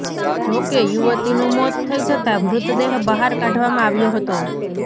જો કે યુવતીનું મોત થઈ જતાં મૃતદેહ બહાર કાઢવામાં આવ્યો હતો